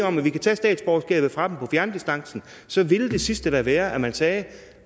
om at vi kan tage statsborgerskabet fra dem på fjerndistancen og så ville det sidste da være at man sagde